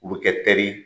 U bɛ kɛ tɛri